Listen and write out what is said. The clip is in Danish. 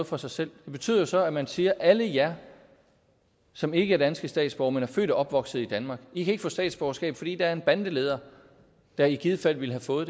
for sig selv det betyder jo så at man siger alle jer som ikke er danske statsborgere men er født og opvokset i danmark i kan ikke få statsborgerskab fordi der er en bandeleder der i givet fald ville have fået